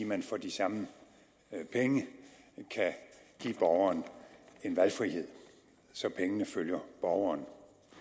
man for de samme penge kan give borgeren en valgfrihed så pengene følger borgeren